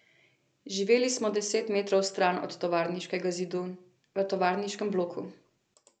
Živeli smo deset metrov stran od tovarniškega zidu, v tovarniškem bloku.